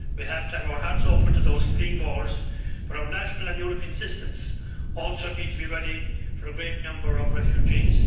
We have to have our hearts open to those fleeing wars, but our national and European systems also need to be ready for a great number of refugees.